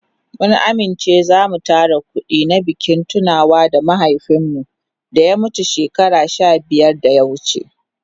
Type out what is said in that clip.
Mun amince da zamu tara kudi na bikin tunawa da mahaifin mu da ya mutu shekaru sha biyar da ya wuce.